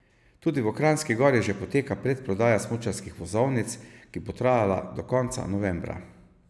Tudi v Kranjski Gori že poteka predprodaja smučarskih vozovnic, ki bo trajala do konca novembra.